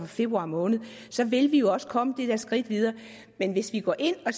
februar måned så vil vi jo også komme det der skridt videre men hvis vi går ind og